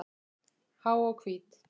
Há og hvít.